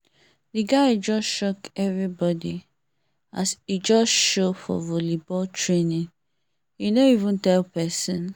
the guy just shock everybody as e just show for volleyball training e no even tell person